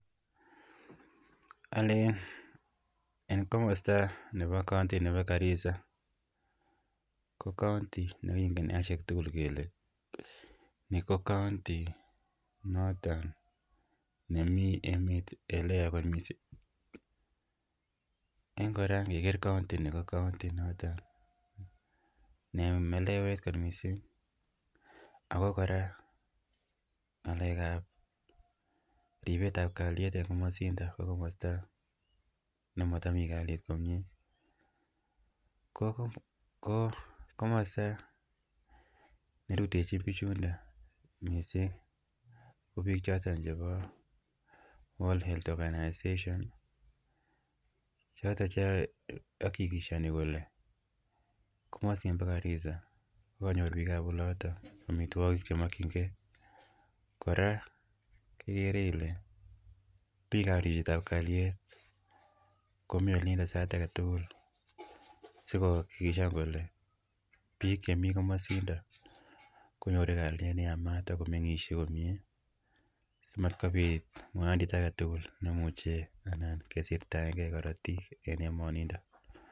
Allen en kamosto nebo Garisa ko count6 negingen kele ni ko county negingen kele hui got missing. Melewet kot missing ako Kora ng'alekab ribsetab kaliet en kamasindet ih nemotomi kaliet komie , ko kamasto nerutechin kamasindet ih ko bik choton che bo World Health Organization. Choto che akikishani komasin bo Garisa . Kora ikere Ile bikab ribikab kaliet komi kamasindo , si koker kole bik chemi komosindo ko konyoru kaliet neyamaat amatketumndaenge karatiik.